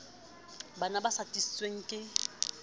bano ba sa sitisweng ke